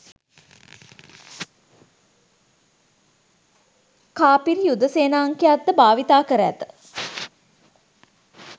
කාපිරි යුද සේනාංකයක්ද භාවිතා කර ඇත